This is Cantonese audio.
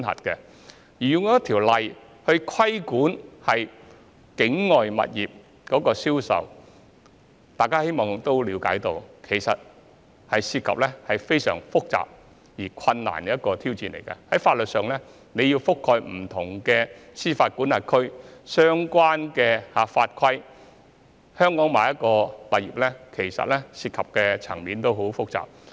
若要實施一項法例來規管境外物業的銷售，大家也可以了解，其實這是非常複雜且困難的挑戰，包括在法律上要覆蓋不同的司法管轄區和相關法規，在香港購買境外物業涉及的層面其實相當複雜。